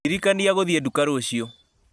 ndirikania gũthiĩ nduka rũciũ